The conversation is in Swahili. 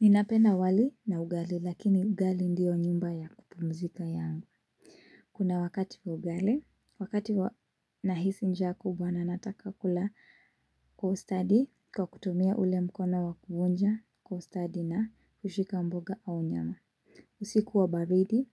Ninapenda wali na ugali, lakini ugali ndiyo nyumba ya kupumzika yangu. Kuna wakati ugali, wakati nahisi njaa kubwa na nataka kula kwa ustadi, kwa kutumia ule mkono wa kuonja, kwa ustadi na kushika mboga au nyama. Usiku wa baridi,